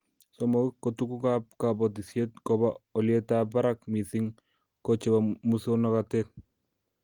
Somok, ko tugukab kobotisiet kobo olyetab barak missing ko chebo muswoknatet